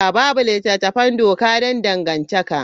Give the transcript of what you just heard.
Babu littattafan doka don dangantaka.